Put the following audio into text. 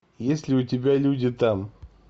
есть ли у тебя люди там